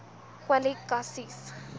kwali ka sies